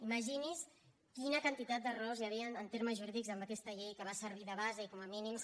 imagini’s quina quantitat d’errors hi havien en termes jurídics en aquesta llei que va servir de base i com a mínims